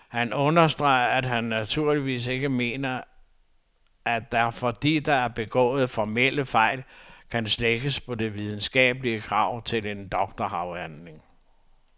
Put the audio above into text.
Han understreger, at han naturligvis ikke mener, at der, fordi der er begået formelle fejl, kan slækkes på de videnskabelige krav til en doktorafhandling.